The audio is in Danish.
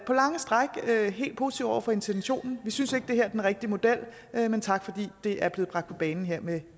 på lange stræk er vi helt positive over for intentionen vi synes ikke at det her er den rigtige model men tak fordi det er blevet bragt på bane her med